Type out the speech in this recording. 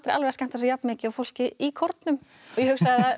að skemmta sér jafn mikið og fólkið í kórnum ég hugsaði